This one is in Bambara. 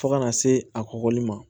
Fo kana se a kɔkɔli ma